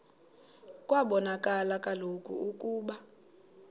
kwabonakala kaloku ukuba